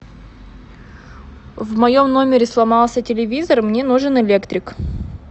в моем номере сломался телевизор мне нужен электрик